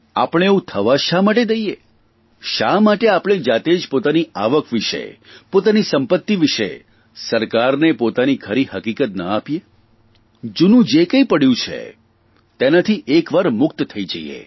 આપણે એવું થવા જ શા માટે દઇએ શા માટે આપણે જાતે જ પોતાની આવક વિષે પોતાની સંપત્તિ વિષે સરકારનો પોતાની ખરી હકીકત ન આપીએ જૂનું જે કંઇ પડ્યું છે તેનાથી એકવાર મુક્ત થઇ જઇએ